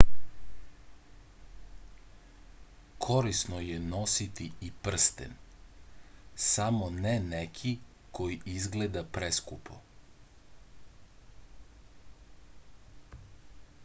корисно је носити и прстен само не неки који изгледа прескупо